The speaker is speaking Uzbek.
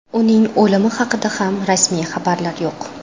Uning o‘limi haqida ham rasmiy xabarlar yo‘q.